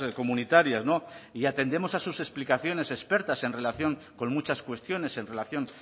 comunitarias no y atendemos a sus explicaciones expertas en relación con muchas cuestiones en relación